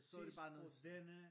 Så var det bare noget